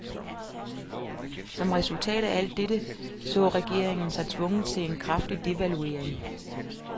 Som resultat af alt dette så regeringen sig tvunget til en kraftig devaluering.